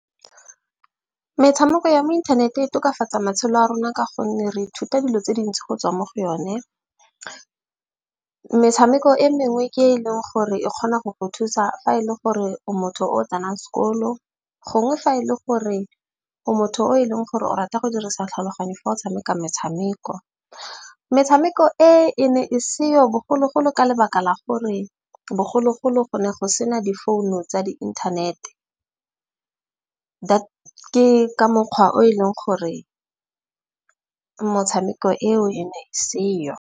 Metshameko ya mo inthaneteng e tokafatsa matshelo a rona. Ka gonne re ithuta dilo tse dintsi go tswa mo go yone. Metshameko e mengwe ke e leng gore e kgona go go thusa fa e le gore o motho o tsenang sekolo, gongwe fa e le gore o motho o e leng gore o rata go dirisa tlhaloganyo fa o tshameka metshameko. Metshameko e e ne e seo bogologolo ka lebaka la gore bogologolo go ne go sena difounu tsa di-internet-e. Ke ka mokgwa o e leng gore motshameko eo e ne e seyo.